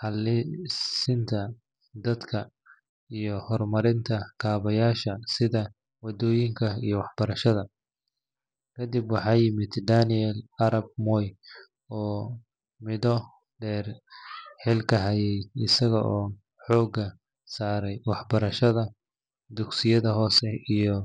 haleysinta dalka hormarida kabayasha wadoyinka iyo waxbarashadda kadib waaxa yimid Daniel arap moi oo mudo deer hilka hayaay asigo hooga saaray waxbarashadda dugsiyada hose iyo